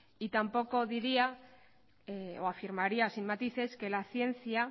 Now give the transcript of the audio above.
y tampoco diría o afirmaría sin matices que la ciencia